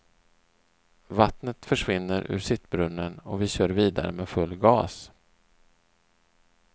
Vattnet försvinner ur sittbrunnen och vi kör vidare med full gas.